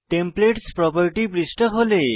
templates property পৃষ্ঠা খোলে